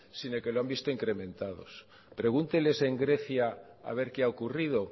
sino que lo han visto incrementados pregúnteles en grecia a ver qué ha ocurrido